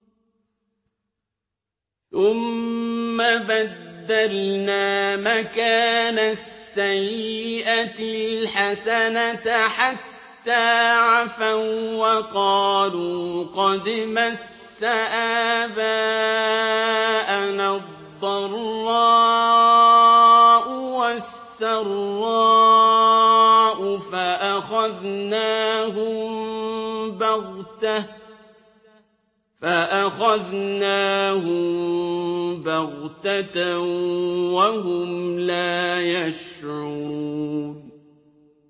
ثُمَّ بَدَّلْنَا مَكَانَ السَّيِّئَةِ الْحَسَنَةَ حَتَّىٰ عَفَوا وَّقَالُوا قَدْ مَسَّ آبَاءَنَا الضَّرَّاءُ وَالسَّرَّاءُ فَأَخَذْنَاهُم بَغْتَةً وَهُمْ لَا يَشْعُرُونَ